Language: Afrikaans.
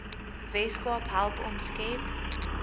weskaap help omskep